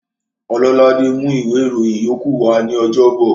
Ọlọ́ládé mú ìwé ìròyìn yókù wa ní ọjọ́bọ̀